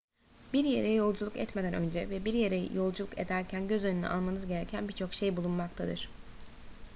bir yere yolculuk etmeden önce ve bir yere yolculuk ederken göz önüne almanız gereken bir çok şey bulunmaktadır